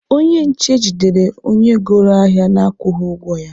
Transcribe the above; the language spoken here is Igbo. Onye nje jidere onye goro ahịa na-akwụghị ụgwọ ya.